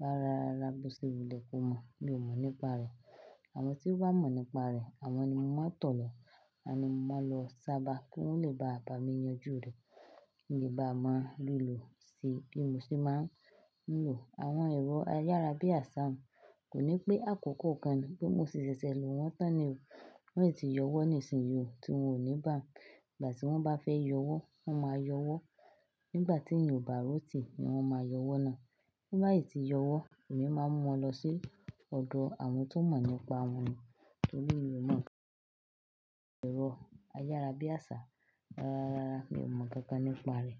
rárá rara bó ṣe wù léko mọ̀. Mi ò mọ̀ nípa rẹ̀. Àwọn tí ó wá mọ̀ nípa rẹ̀, àwọn ni mo máa ń tọ̀ lọ. Àwọn ni mo máa lọ sábà kí wọ́n lè bá bà mí yanjú rẹ̀ kí n lè bá a máa ri lò ṣe bí mo ṣe máa ń lò àwọn ẹ̀rọ ayárabíàṣá mi. Kò ní pé àkókò kan bí mo ṣe ṣẹ̀ṣẹ̀ lò wọ́n tán ni wọ́n ò tí ì yọwọ́ ní ìsinsìnyí òún ti wọn ò ní bà. Ìgbà tí wọ́n bá fẹ́ yọwọ́, wọ́n máa yọwọ́. Nígbà tí èèyàn ò bá ròtì ni wọ́n máa yọwọ́ náà. Nígbà tobati tí yọwọ́, èmi máa ń mú wọn lọ sí ọ̀dọ̀ àwọn tó mọ̀ nípa àwọn ohun. Nítorí mi ò mọ̀ nípa ẹ̀rọ ayárabíàṣá rárá rara. Mi ò mọ̀ kankan nípa rẹ̀.